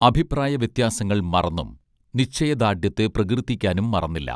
അഭിപ്രായവ്യത്യാസങ്ങൾ മറന്നും നിശ്ചയദാർഢ്യത്തെ പ്രകീർത്തിക്കാനും മറന്നില്ല